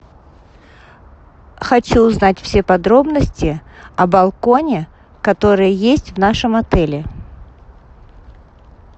хочу узнать все подробности о балконе который есть в нашем отеле